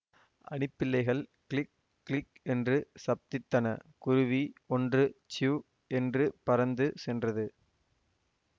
அணிப்பிள்ளைகள் கிளிக் கிளிக் என்று சப்தித்தன குருவி ஒன்று சிவ் என்று பறந்து சென்றது